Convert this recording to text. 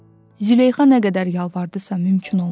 Züleyxa nə qədər yalvardısa mümkün olmadı.